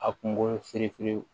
A kungolo feerinfeere